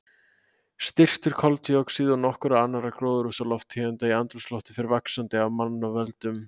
Styrkur koltvíoxíðs og nokkurra annarra gróðurhúsalofttegunda í andrúmsloftinu fer vaxandi af mannavöldum.